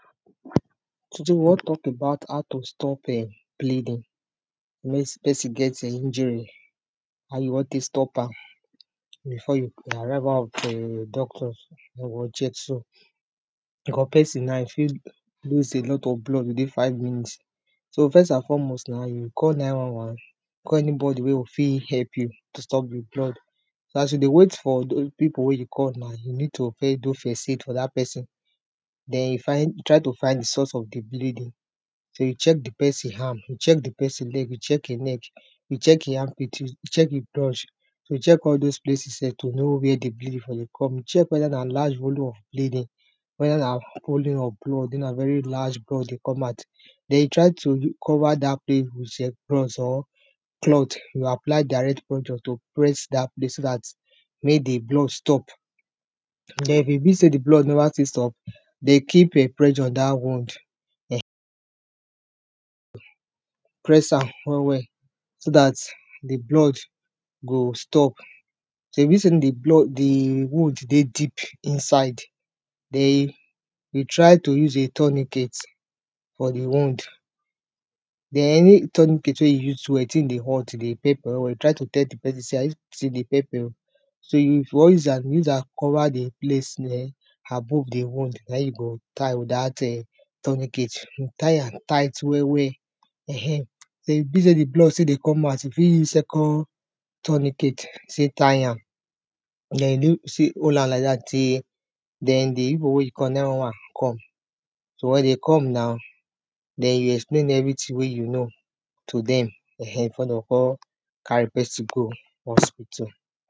today we wan talk about how to stop dey bleeding when person eh get injury how you wan take stop am before the arrival of doctors or first bank cos person naw, e fit lose a lot of blood within five minutes first an formost na you go call 911 call anybody wey fit help you stop the blood so as you dey wait for the people wey you call, na you need to first do first aid for that person then find, try to find the source of thebleeding check the person arm check the person leg check him neck check him armpit, check him crouch check all those pleces where dey bleeding from dey come. check whether na large colume of bleeding whether na volume of blood, or na very large blood dey come out then try to cover that place with apron or you apply direct into to press that place so that make the blood stop if e be sey, the blood never still stop, then keep pressure for that wound press am well well so that the blood go stop if e be say the wound dey deep inside then try to use a tonicet for the wound then, any tonicet wey you use, wey dey tin dey hot dey pepper well well, try to dey tell de person say e dey pepper oh so if you wan use am, cover the place well eh avove the one na him you go tie with that tonicet tie am tight well well ehhen if e be sey de blood still dey come out e fit use second tonicket take tie am then you hold am like that till the people wey you call 911 come so as them dey come now then you explain evertyhing wey you know to dem eh hen before dem go come carry the person go hospitle